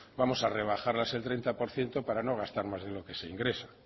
vamos a rebajarlas el treinta por ciento para no gastar más de lo que se ingresa